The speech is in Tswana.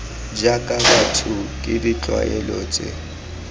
jaaka batho ke ditlwaelo tse